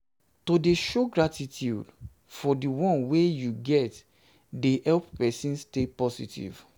to de show um gratitude um for di one wey you um get de help persin stay positive